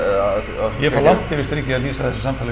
að ég fór langt yfir strikið að lýsa þessu samtali